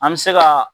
An bɛ se ka